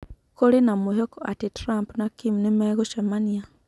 Kũrĩ na mwĩhoko atĩ Trump na Kim nimegũcemania